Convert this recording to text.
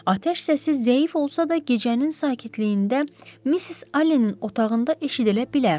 Atəş səsi zəif olsa da, gecənin sakitliyində Missis Allenin otağında eşidilə bilərdi.